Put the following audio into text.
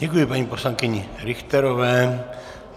Děkuji paní poslankyni Richterové.